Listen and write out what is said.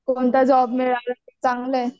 कोणता जॉब मिळाला तर चांगलं आहे.